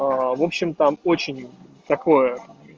в общем там очень такое